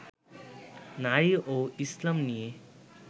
নারী ও ইসলাম নিয়ে